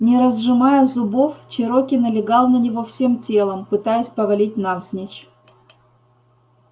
не разжимая зубов чероки налегал на него всем телом пытаясь повалить навзничь